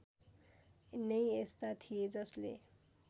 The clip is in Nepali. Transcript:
नै यस्ता थिए जसले